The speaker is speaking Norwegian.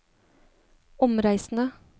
omreisende